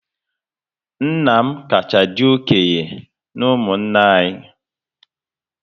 Nna m kacha dị okenye na ụmụnna anyị